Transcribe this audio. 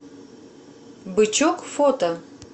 бычок фото